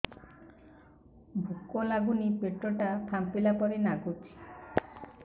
ଭୁକ ଲାଗୁନି ପେଟ ଟା ଫାମ୍ପିଲା ପରି ନାଗୁଚି